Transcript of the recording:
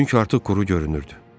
Çünki artıq quru görünürdü.